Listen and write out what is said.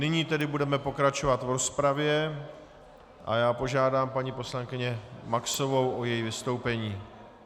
Nyní tedy budeme pokračovat v rozpravě a já požádám paní poslankyni Maxovou o její vystoupení.